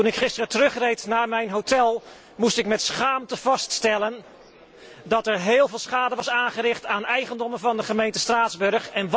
Toen ik gisteren terugreed naar mijn hotel, moest ik met schaamte vaststellen dat er heel veel schade was aangericht aan eigendommen van de gemeente Straatsburg.